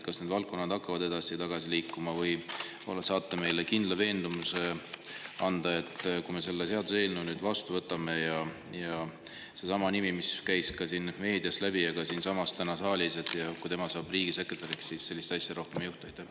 Kas need valdkonnad hakkavad edasi-tagasi liikuma või saate te anda meile kindla veendumuse, et kui me nüüd selle seaduseelnõu vastu võtame ja kui riigisekretäriks saab seesama inimene, kelle nimi käis läbi meediast ja ka täna siin saalis, siis sellist asja rohkem ei juhtu?